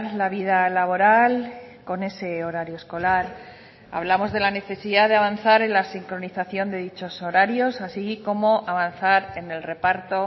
la vida laboral con ese horario escolar hablamos de la necesidad de avanzar en la sincronización de dichos horarios así como avanzar en el reparto